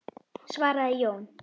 svaraði Jón.